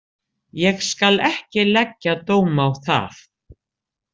Ég skal ekki leggja dóm á það.